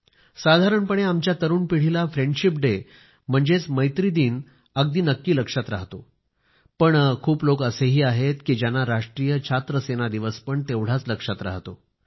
साधारणपणे आमच्या तरुण पिढीला फ्रेंडशिप डे म्हणजेच मैत्री दिन अगदी नक्की लक्षात राहतो पण खूप लोक असेही आहेत की ज्यांना राष्ट्रीय छात्र सेना दिवस पण तेवढाच लक्षात राहतो